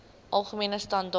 algemene standaar